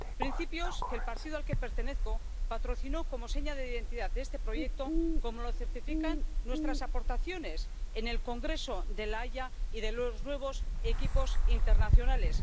Principios que el partido al que pertenezco patrocinó como seña de identidad de este proyecto, como lo certifican nuestras aportaciones en el Congreso de la Haya y en los Nuevos Equipos Internacionales.